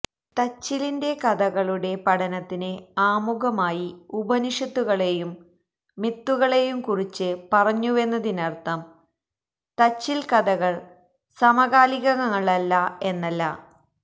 തച്ചിലിന്റെ കഥകളുടെ പഠനത്തിന് ആമുഖമായി ഉപനിഷത്തുകളേയും മിത്തുകളേയും കുറിച്ച് പറഞ്ഞുവെന്നതിനര്ഥം തച്ചില് കഥകള് സമകാലികങ്ങളല്ല എന്നല്ല